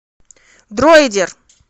дройдер